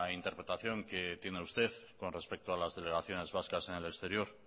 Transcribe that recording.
interpretación que tiene usted con respecto a las delegaciones vascas en el exterior